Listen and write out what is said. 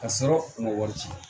Ka sɔrɔ u ma wari ci